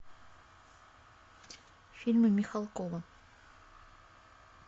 фильмы михалкова